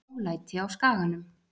Ólæti á Skaganum